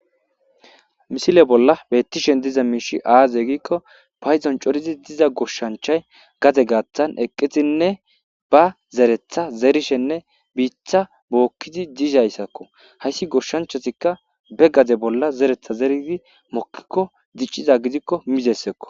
Misile bolla bettishen diza miishi aaze giikko payzon corizi diza goshshanchay gade gaattan eqqizinne ba zeretha zerishenne biitha bookkidi diizayssakko hayssi goshshanchatikka be gade bolla zeretha zeridi mokkikko dicciza gidikko mizessekko.